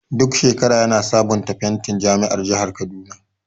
Duk shekara yana sabunta fentin jami'an jahar kaduna.